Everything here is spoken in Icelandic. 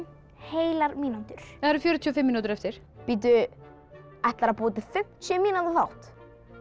heilar mínútur það eru fjörutíu og fimm mínútur eftir ætlarðu að búa til fimmtíu mínútna þátt já